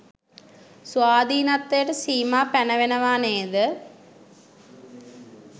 ස්වාධීනත්වයට සීමා පැනවෙනවා නේද?